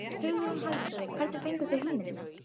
Hugrún Halldórsdóttir: Hvernig fenguð þið hugmyndina?